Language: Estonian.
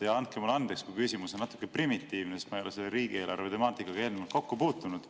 Andke mulle andeks, kui küsimus on natuke primitiivne, sest ma ei ole riigieelarve temaatikaga eelnevalt kokku puutunud.